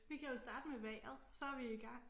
Vi kan jo starte med vejret så er vi i gang